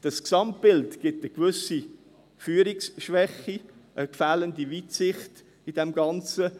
Das Gesamtbild zeigt eine gewisse Führungsschwäche, eine fehlende Weitsicht in diesem Ganzen.